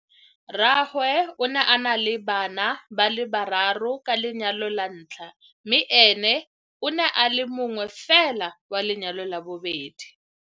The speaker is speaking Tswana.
Rraagwe o ne a na le bana ba le bararo ka lenyalo la ntlha mme ene o ne a le mongwefela wa lenyalo la bobedi.